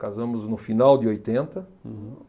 Casamos no final de oitenta. Uhum.